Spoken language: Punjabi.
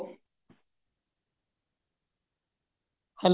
ਹਾਂ